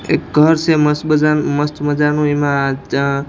એ ઘર સે મસ્ત મજા મસ્ત મજાનું એમાં --